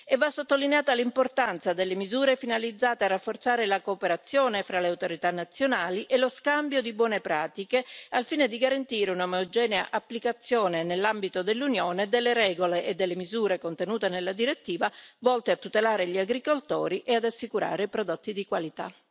Va sottolineata l'importanza delle misure finalizzate a rafforzare la cooperazione fra le autorità nazionali e lo scambio di buone pratiche, al fine di garantire una omogenea applicazione nell'ambito dell'Unione delle regole e delle misure contenute nella direttiva, volte a tutelare gli agricoltori e ad assicurare prodotti di qualità.